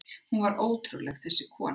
Hún var ótrúleg, þessi kona.